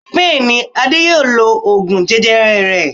Bẹ́ẹ̀ni, Ade yóò lo oògùn jẹjẹrẹ rẹ̀.